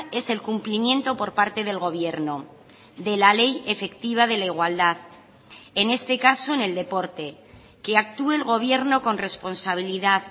es el cumplimiento por parte del gobierno de la ley efectiva de la igualdad en este caso en el deporte que actúe el gobierno con responsabilidad